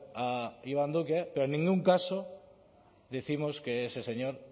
a iván duque pero en ningún caso décimos que ese señor